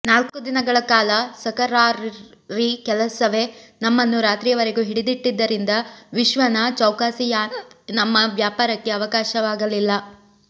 ನಾಲ್ಕು ದಿನಗಳ ಕಾಲ ಸಕರ್ಾರಿ ಕೆಲಸವೇ ನಮ್ಮನ್ನು ರಾತ್ರಿಯವರೆಗೂ ಹಿಡಿದಿಟ್ಟಿದ್ದರಿಂದ ವಿಶ್ವನ ಚೌಕಾಸಿ ಯಾನೆ ನಮ್ಮ ವ್ಯಾಪಾರಕ್ಕೆ ಅವಕಾಶವಾಗಲಿಲ್ಲ